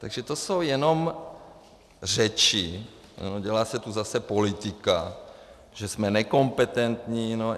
Takže to jsou jenom řeči, dělá se tu zase politika, že jsme nekompetentní.